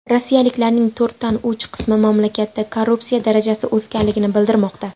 Rossiyaliklarning to‘rtdan uch qismi mamlakatda korrupsiya darajasi o‘sganligini bildirmoqda.